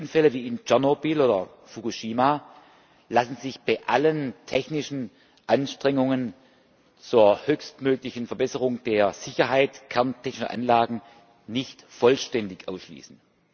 Schwere Unfälle wie in Tschernobyl oder Fukushima lassen sich bei allen technischen Anstrengungen zur höchstmöglichen Verbesserung der Sicherheit kerntechnischer Anlagen nicht vollständig ausschließen.